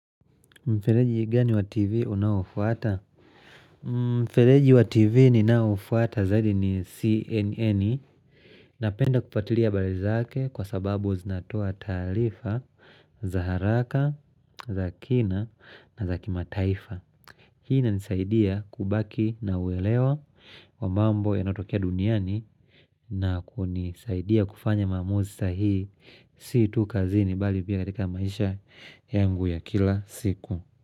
Mfeleji gani wa TV unaofuata? Mfeleji wa TV ni naofuata zaidi ni CNN Napenda kupatilia habar zake kwa sababu zinatoa talifa za haraka, za kina na za kima taifa Hii na inisaidia kubaki na uelewa wa mambo yanotokea duniani na kunisaidia kufanya maamuzi sahihi Si tu kazini bali pia katika maisha yangu ya kila siku.